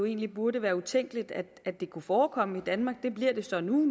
egentlig burde være utænkeligt at det kunne forekomme i danmark det bliver det så nu